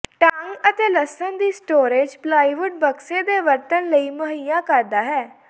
ਢੰਗ ਅਤੇ ਲਸਣ ਦੀ ਸਟੋਰੇਜ਼ ਪਲਾਈਵੁੱਡ ਬਕਸੇ ਦੇ ਵਰਤਣ ਲਈ ਮੁਹੱਈਆ ਕਰਦਾ ਹੈ